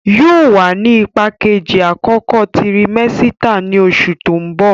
Yóò wà ní ipá Kejì àkókò tirimẹ́sítà ní oṣù tó ń bò